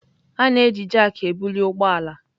A na-eji jakị ebuli ụgbọ ala.